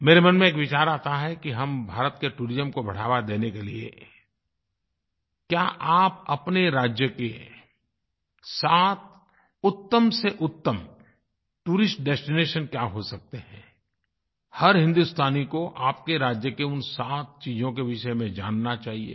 मेरे मन में एक विचार आता है कि हम भारत के टूरिज्म को बढ़ावा देने के लिए क्या आप अपने राज्य के सात उत्तम से उत्तम टूरिस्ट डेस्टिनेशन क्या हो सकते हैं हर हिन्दुस्तानी को आपके राज्य के उन सात चीज़ों के विषय में जानना चाहिये